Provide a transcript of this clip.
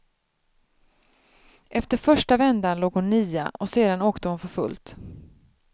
Efter första vändan låg hon nia, och sedan åkte hon för fullt.